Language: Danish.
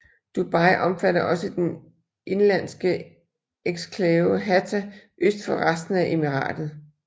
Dubai omfatter også den indlandske eksklave Hatta øst for resten af emiratet